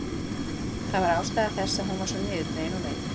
Það var ástæða þess að hún var svo niðurdregin og leið.